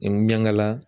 N ɲaŋala